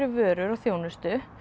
vörum og þjónustu